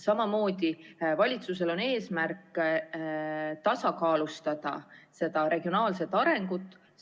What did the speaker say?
Samamoodi on valitsusel eesmärk tasakaalustada regionaalset arengut.